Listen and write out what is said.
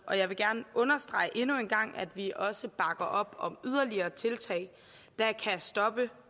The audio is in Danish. og jeg vil gerne understrege endnu en gang at vi også bakker op om yderligere tiltag der kan stoppe